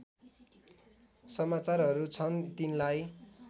समाचारहरू छन् तिनलाई